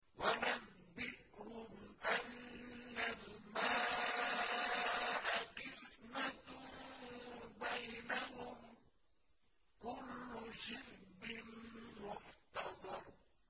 وَنَبِّئْهُمْ أَنَّ الْمَاءَ قِسْمَةٌ بَيْنَهُمْ ۖ كُلُّ شِرْبٍ مُّحْتَضَرٌ